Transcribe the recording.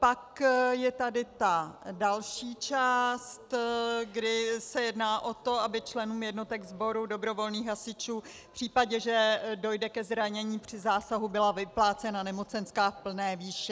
Pak je tady ta další část, kdy se jedná o to, aby členům jednotek sboru dobrovolných hasičů v případě, že dojde ke zranění při zásahu, byla vyplácena nemocenská v plné výši.